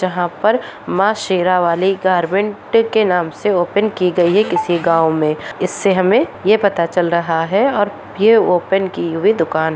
जहाँ पर माँ शेरावाली गारमेन्ट के नाम से ओपन की गयी है किसी गाँव मे इससे हमें ये पता चल रहा है और यह ओपन की हुई दुकान--